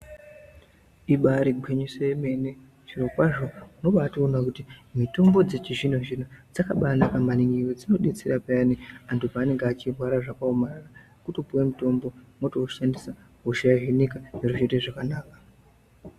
Ibari gwinyiso yemene. Zvirokwazvo unobatoona kuti mitombo dzechizvino-zvino dzakabanaka maningi ngekuti dzinobetsera pheyani anhu panenge zvaomarara otopuwe mutombo, mwotoushandisa hosha yohinika zviro zvoita zvakanaka.